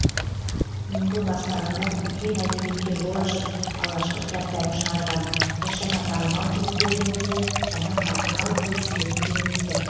енді бастағандар үлкен әдебиетке жол ашып алғашқы кітаптарын шығарған біршама танымал жігіттердің өзі жаңа қарқын алып өрістерін кеңейтті